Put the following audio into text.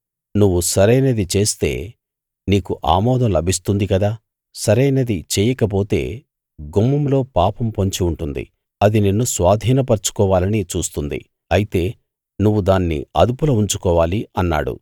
నువ్వు సరైనది చేస్తే నీకు ఆమోదం లభిస్తుంది కదా సరైనది చెయ్యకపోతే గుమ్మంలో పాపం పొంచి ఉంటుంది అది నిన్ను స్వాధీపర్చుకోవాలని చూస్తుంది అయితే నువ్వు దాన్ని అదుపులో ఉంచుకోవాలి అన్నాడు